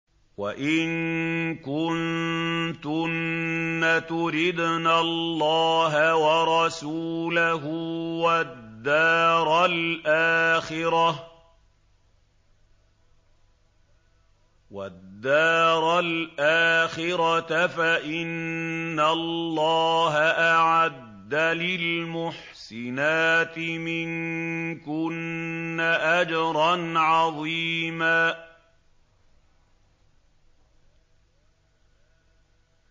وَإِن كُنتُنَّ تُرِدْنَ اللَّهَ وَرَسُولَهُ وَالدَّارَ الْآخِرَةَ فَإِنَّ اللَّهَ أَعَدَّ لِلْمُحْسِنَاتِ مِنكُنَّ أَجْرًا عَظِيمًا